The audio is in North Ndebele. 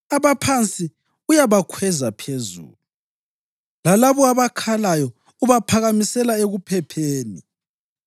Abaphansi uyabakhweza phezulu, lalabo abakhalayo ubaphakamisela ekuphepheni.